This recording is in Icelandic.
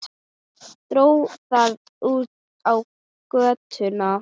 Dró það út á götuna.